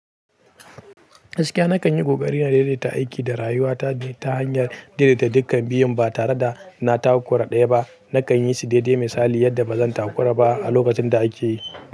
Gaskiya na kan yi ƙoƙari na daidaita aiki da rayuwa ta ne ta hanyar daidaita dukkan biyun ba tare da na takura ɗaya ba. Na kan yi su daidai misali yadda ba zan takura ba a lokacin da ake yi.